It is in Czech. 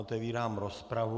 Otevírám rozpravu.